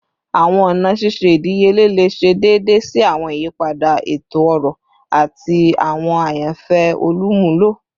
Awọn ọna ṣiṣe idiyele le ṣe deede si awọn iyipada eto-ọrọ ati awọn ayanfẹ olumulo